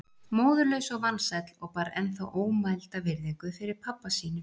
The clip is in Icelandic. Móðurlaus og vansæll og bar ennþá ómælda virðingu fyrir pabba sínum.